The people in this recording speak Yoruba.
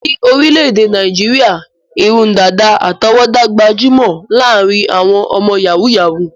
Ní orílẹ̀-èdè Nàìjíríà, irun dàdà àtọwọ́dá gbajúmọ̀ láàárín àwọn ọmọ yàhú-yàhuù.